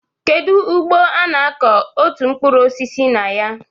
Kedu ugbo ọ na-akọ otu mkpụrụ osisi na ya?